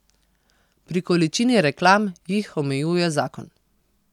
Pri količini reklam jih omejuje zakon.